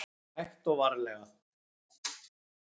Hægt og varlega.